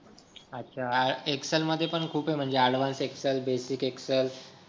अच्छा एक्सेल मध्ये पण खूप आहे म्हणजे ॲडव्हान्स एक्सेल बेसिक एक्सेल